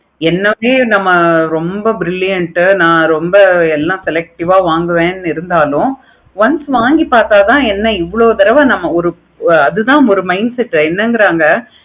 என்னாலையே நம்ம நல்ல brilliant உ ஆஹ் ரொம்ப எல்லா selective ஆஹ் வாங்குவேன் இருந்தாலும் once வாங்கி பார்த்த தான் என்ன இவ்வளோ தடா நம்ம ஒரு அது தான் ஒரு mindset உ என்னங்கிற